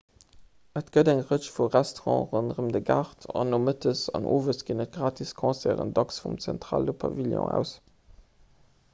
et gëtt eng rëtsch vu restaurante ronderëm de gaart an nomëttes an owes ginn et gratis concerten dacks vum zentrale pavillon aus